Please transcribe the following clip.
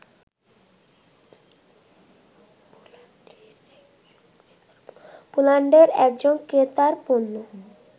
পোল্যান্ডের একজন ক্রেতার পণ্য